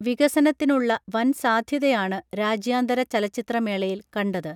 വികസനത്തിനുള്ള വൻ സാധ്യതയാണ് രാജ്യാന്തര ചലച്ചിത്രമേളയിൽ കണ്ടത്